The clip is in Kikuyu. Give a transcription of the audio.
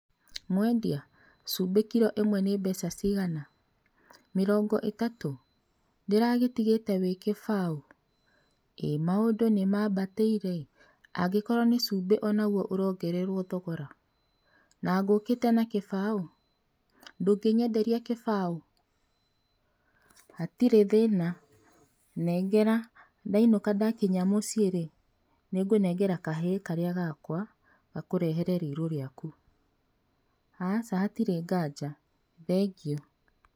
Mwendia, cumbĩ kiro ĩmwe nĩ mbeca cigana? Mĩrongo itatũ? Ndĩragĩtigĩte wĩ kĩbaũ, ĩ maũndũ nĩ mambatĩire, angĩkorwo nĩ cumbĩ onagwo ũrongererwo thogora, na ngũkĩite na kĩbaũ. Ndũngĩnyenderia kĩbaũ? Hatirĩ thĩna, nengera, ndainũka nadakinya mũciĩ rĩ, nĩngũnengera kahĩĩ karĩa gakwa gakũrehere rĩirũ rĩaku. Aca hatirĩ nganja. Thengiũ.